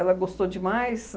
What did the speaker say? gostou demais.